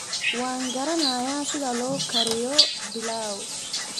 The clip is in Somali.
Waan garanayaa sida loo kariyo pilau